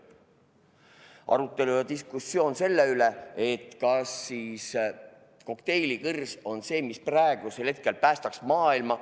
Aga oli arutelu ja diskussioon selle üle, kas kokteilikõrs on see, mis praegusel hetkel päästaks maailma.